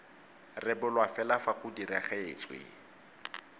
rebolwa fela fa go diragaditswe